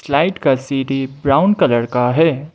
Light का CD brown colour का है।